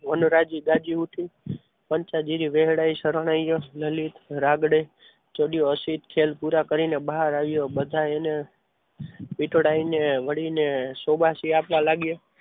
વનરાજી ગાજી ઉઠ્યું પંચ અધિકારી વેડાઈ શાળાઓ રાગડી ચઢ્યો હશે એ ખેલ પૂરા કરીને બહાર આવ્યો બધાએ વિઠોડાઈને વળીને શાબાશી આપવા લાગ્યા.